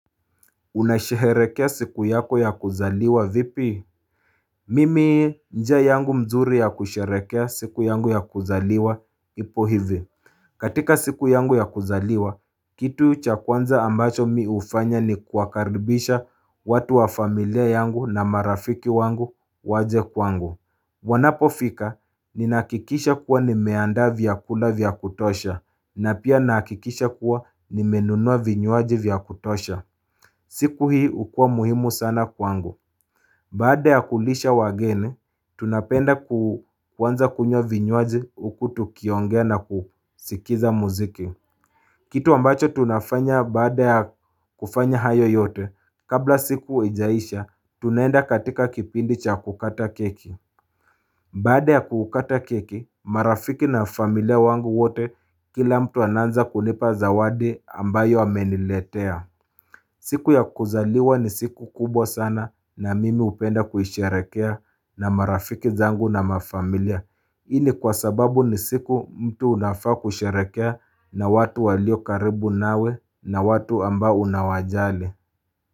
Unasherehekea siku yako ya kuzaliwa vipi? Mimi njia yangu mzuri ya kusherehekea siku yangu ya kuzaliwa ipo hivi katika siku yangu ya kuzaliwa, kitu cha kwanza ambacho mimi hufanya ni kuwakaribisha watu wa familia yangu na marafiki wangu waje kwangu Wanapofika, ninahakikisha kuwa nimeandaa vyakula vya kutosha, na pia nahakikisha kuwa nimenunua vinywaji vya kutosha siku hii hukua muhimu sana kwangu Baada ya kulisha wageni, tunapenda kuanza kunywa vinywaji huku tukiongea na kusikiza muziki Kitu ambacho tunafanya baada ya kufanya hayo yote, kabla siku haijaisha, tunaenda katika kipindi cha kukata keki Baada ya kukata keki, marafiki na familia wangu wote kila mtu anaanza kulipa zawadi ambayo ameniletea siku ya kuzaliwa ni siku kubwa sana na mimi hupenda kuisherehekea na marafiki zangu na mafamilia. Hii ni kwa sababu ni siku mtu unafaa kusherehekea na watu walio karibu nawe na watu ambao unawajali.